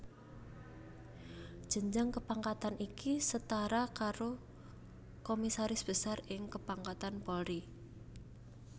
Jenjang kepangkatan iki setara karo Komisaris Besar ing kepangkatan Polri